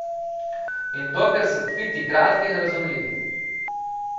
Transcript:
In dokler so tviti kratki in razumljivi.